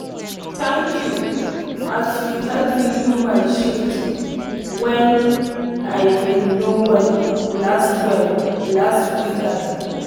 thank you as you help me do my shift when i been no well last well last weekend.